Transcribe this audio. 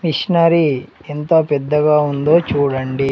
Machinery ఎంత పెద్దగా ఉందో చూడండి.